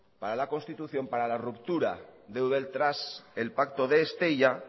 para la constitución para la ruptura de eudel tras el pacto de estella